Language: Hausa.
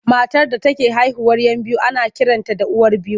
Matar da take haihuwar 'yan biyu ana kiranta da uwar biyu.